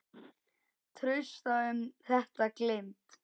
Trausta um þetta gleymd.